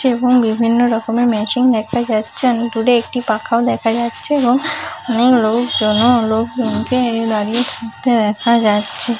এবং বিভিন্ন রকমের ম্যাচিং দেখা যাচ্ছেন দূরে একটি পাখাও দেখা যাচ্ছে এবং অনেক লোকজনও দাঁড়িয়ে এবং দাঁড়িয়ে থাকতে দেখা যাচ্ছে।